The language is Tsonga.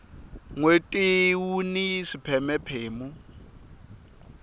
nweti wuni swipheme phemu